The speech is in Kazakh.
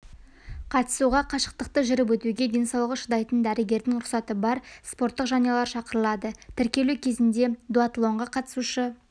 қатысуға қашықтықты жүріп өтуге денсаулығы шыдайтын дәрігердің рұқсаты бар спорттық жанұялар шақырылады тіркелу кезінде дуатлонға қатысушы